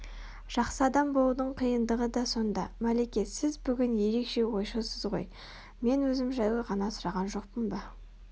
жақсы адам болудың қиындығы да сонда Мәлике сіз бүгін ерекше ойшылсыз ғой мен өзім жайлы ғана сұраған жоқпын ба